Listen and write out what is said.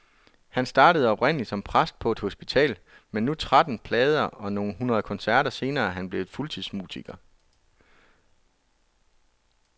Han startede oprindelig som præst på et hospital, men nu tretten plader og nogle hundrede koncerter senere er han blevet fuldtidsmusiker.